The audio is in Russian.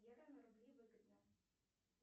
рубли выгодно